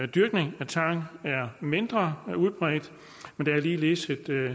dyrkning af tang er mindre udbredt men der er ligeledes et